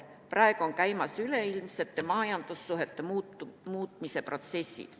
Praegu on käimas üleilmsete majandussuhete muutmise protsessid.